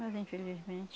Mas, infelizmente,